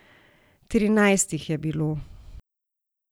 Trinajst jih je bilo.